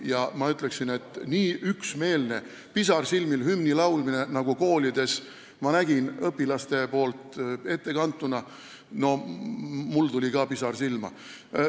Ja ma ütleksin, et selle nägemise peale, kui üksmeelselt ja pisarsilmil õpilased koolides hümni ette kandsid, tuli mul ka pisar silma.